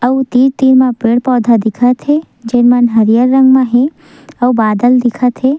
अउ तीर तीर म पेड़-पौधा दिखत हे जे मन हरियर रंग म हे अउ बादल दिखत हे।